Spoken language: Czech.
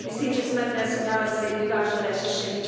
Myslím, že jsme dnes nalezli vyvážené řešení.